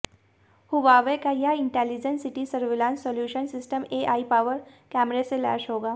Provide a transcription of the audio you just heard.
Huawei का यह intelligent city surveillance solution system AI power कैमरे से लैस होगा